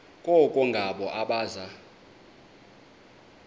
koko ngabo abaza